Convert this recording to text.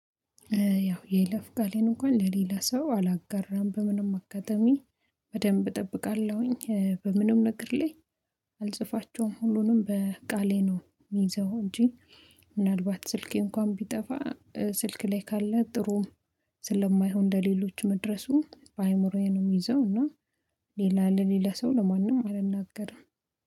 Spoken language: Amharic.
ያው የይለፍ ቃሌን እንኳን ለሌላ ሰው አላጋራም በምንም አጋጣሚ በደንብ እጠብቃለሁኝ በምንም ነገር ላይ አልጽፋቸውም ሁሉንም በቃሌ ነው የሚይዘው እንጂ ምናልባት ስልኬ እንኳን ቢጠፋ ስልክ ላይ ካለ ጥሩም ስለማይሆን ለሌሎች መድረሱ በአእምሮዬ ነው የሚይዘው እና ሌላ ለሌላ ሰው ለማንም አልናገርም።